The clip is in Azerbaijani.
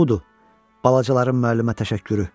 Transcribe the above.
Budur balacaların müəllimə təşəkkürü.